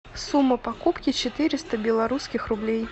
сумма покупки четыреста белорусских рублей